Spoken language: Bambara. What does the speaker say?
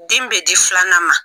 Den bɛ di filanan ma.